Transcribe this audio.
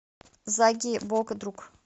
заги бок друг